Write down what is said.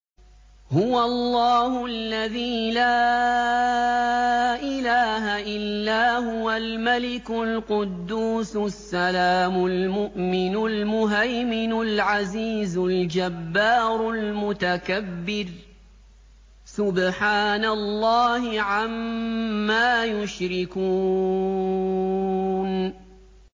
هُوَ اللَّهُ الَّذِي لَا إِلَٰهَ إِلَّا هُوَ الْمَلِكُ الْقُدُّوسُ السَّلَامُ الْمُؤْمِنُ الْمُهَيْمِنُ الْعَزِيزُ الْجَبَّارُ الْمُتَكَبِّرُ ۚ سُبْحَانَ اللَّهِ عَمَّا يُشْرِكُونَ